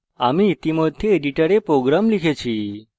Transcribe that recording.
আমি ইতিমধ্যে editor program লিখে ফেলেছি